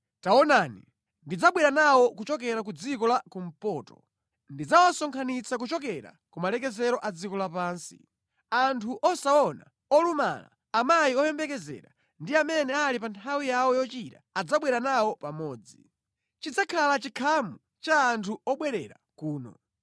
Taonani, ndidzabwera nawo kuchokera ku dziko la kumpoto, ndidzawasonkhanitsa kuchokera ku malekezero a dziko lapansi. Anthu osaona, olumala, amayi oyembekezera ndi amene ali pa nthawi yawo yochira adzabwera nawo pamodzi. Chidzakhala chikhamu cha anthu obwerera kuno.